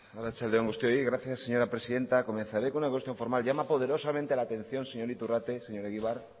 arratsalde on guztioi gracias señora presidenta comenzare con una cuestión formal llama poderosamente la atención señor iturrate señor egibar